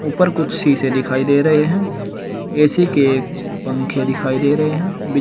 उपर कुछ शीशे दिखाई दे रहे हैं ए_सी के पंखे दिखाई दे रहे हैं।